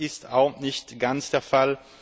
Das ist auch nicht ganz der Fall.